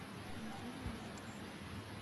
андрей булатов